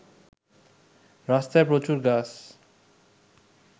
“রাস্তায় প্রচুর গাছ